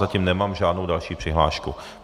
Zatím nemám žádnou další přihlášku.